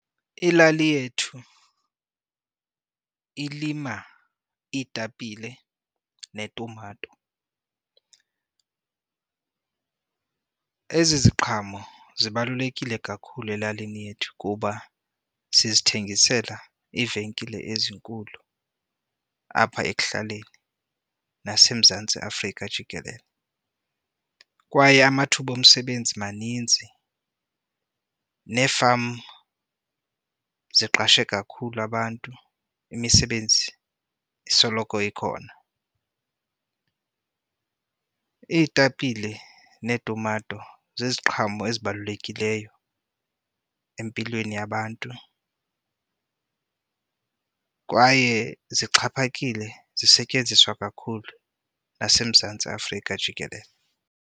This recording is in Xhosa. Ilali yethu ilima iitapile netumato. Ezi ziqhamo zibalulekile kakhulu elalini yethu kuba sizithengisela iivenkile ezinkulu apha ekuhlaleni naseMzantsi Afrika jikelele. Kwaye amathuba omsebenzi maninzi nee-farm siqashe kakhulu abantu, imisebenzi isoloko ikhona. Iitapile neetumato ziziqhamo ezibalulekileyo empilweni yabantu kwaye zixhaphakile, zisetyenziswa kakhulu naseMzantsi Afrika jikelele.